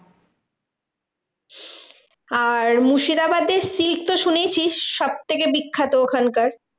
আর মুর্শিদাবাদের সিক তো শুনেইছিস সবথেকে বিখ্যাত ওখানকার।